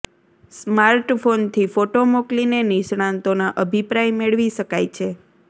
smart ફોનથી photo મોકલીને નિષ્ણાંતોના અભિપ્રાય મેળવી શકાય છે